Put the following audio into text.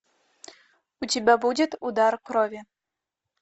у тебя будет удар крови